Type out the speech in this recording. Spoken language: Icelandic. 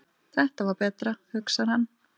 Þetta var betra, hugsar hann.